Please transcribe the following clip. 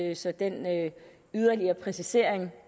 jeg så den yderligere præcisering